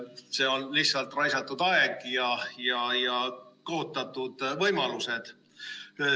See on lihtsalt raisatud aeg ja kaotatud võimalused.